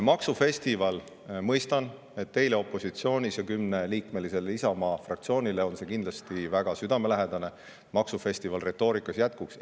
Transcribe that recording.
Maksufestival – mõistan, et teile opositsioonis ja kümneliikmelisele Isamaa fraktsioonile on see kindlasti väga südamelähedane, et maksufestival retoorikas jätkuks.